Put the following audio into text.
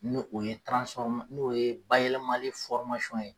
Ni o ye nu o ye bayɛlɛmali ye.